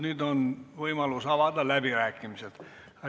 Nüüd on võimalus avada läbirääkimised.